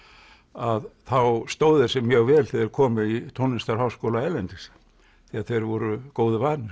að þá stóðu þeir sig mjög vel þegar þeir komu í tónlistarháskóla erlendis því að þeir voru góðu vanir